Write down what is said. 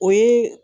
O ye